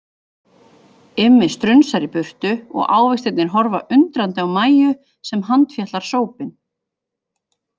Immi strunsar í burtu og ávextirnir horfa undrandi á Mæju sem handfjatlar sópinn.